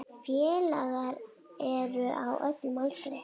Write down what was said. Félagar eru á öllum aldri.